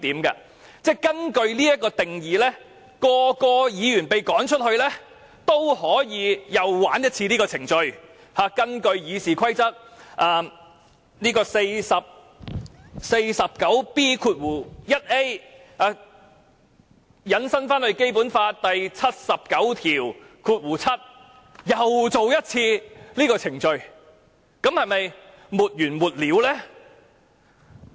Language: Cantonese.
如果根據這定義，每位議員被趕走後，其他人也可以啟動程序，引用《議事規則》第 49B 條，再引申至《基本法》第七十九條第七項，然後再進行一次這程序，那會否沒完沒了呢？